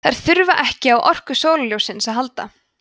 þær þurfa ekki á orku sólarljóssins að halda